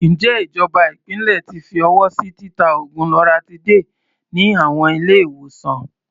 Ǹjẹ́ ìjọba ìpínlẹ̀ ti fi ọwọ́ sí títa oògùn loratiday ní àwọn ilé-ìwòsàn?